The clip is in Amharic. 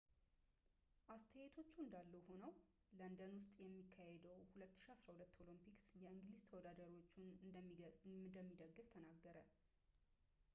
አስተያየቶቹ እንዳሉ ሆነው ለንደን ውስጥ በሚካሄደው 2012 ኦሎምፒክስ የእንግሊዝ ተወዳዳሪዎቹን እንደሚደግፍ ተናገረ